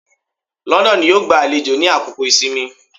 London yo gba àlejò ni àkókò ìsinmi